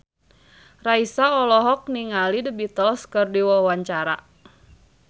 Raisa olohok ningali The Beatles keur diwawancara